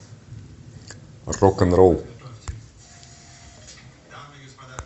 рок н ролл